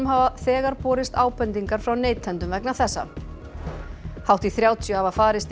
hafa þegar borist ábendingar frá neytendum vegna þessa hátt í þrjátíu hafa farist